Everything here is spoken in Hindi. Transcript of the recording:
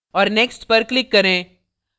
और next पर click करें